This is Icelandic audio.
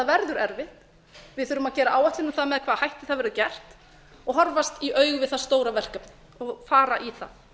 verður erfitt við þurfum að gera áætlun um með hvaða hætti það verður gert og horfast í augu við það stóra verkefni og fara í það